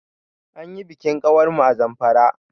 Anyi bikin ƙawar mu a Zamfara.